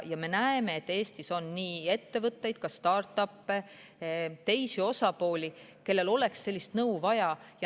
Me näeme, et Eestis on ettevõtteid, ka start-up'e ja teisi osapooli, kellel oleks sellist nõu vaja.